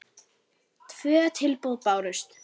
Tvö tilboð bárust.